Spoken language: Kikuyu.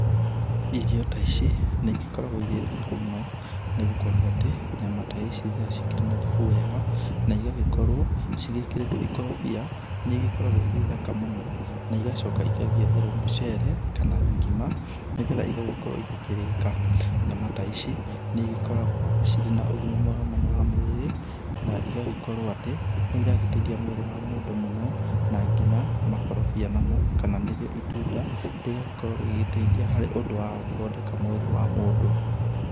Irio ta ici nĩ igĩkoragwo irĩ thaka mũno, nĩ gũkorwo atĩ nyama ta ici rĩrĩa ci kĩrĩ na thubu wega, na igakorwo ci gĩkĩrĩtwo ikorobia, nĩ igĩkoragwo irĩ thaka mũno na igacoka igagĩetherwo mũcere kana ngima, nĩgetha igagĩkorwo igĩkĩrĩka. Nyama ta ici nĩ igĩkoragwo cirĩ na ũgĩma mwega mũno wa mwĩrĩ, na igagĩkorwo atĩ nĩ iragĩteithia mwĩrĩ wa mũndũ mũno. Na nginya makorobia namo, kana nĩrĩo itunda, rĩgagĩkorwo rĩgĩgĩteithia harĩ ũndũ wa gũthondeka mwĩrĩ wa mũndũ.